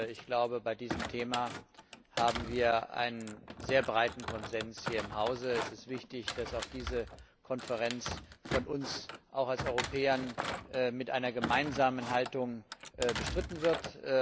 Ich glaube, bei diesem Thema haben wir einen sehr breiten Konsens hier im Hause. Es ist wichtig, dass auch diese Konferenz von uns Europäern mit einer gemeinsamen Haltung bestritten wird.